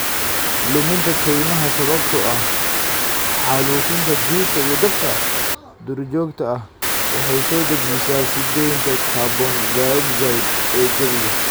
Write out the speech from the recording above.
Luminta kaymaha sababtoo ah xaalufinta dhirta iyo dabka duurjoogta ah waxay soo dedejisaa sii deynta carbon dioxide ee jawiga.